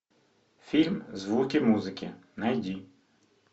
фильм звуки музыки найди